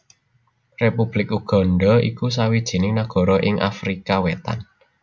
Republik Uganda iku sawijining nagara ing Afrika Wétan